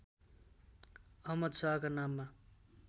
अहमद शाहका नाममा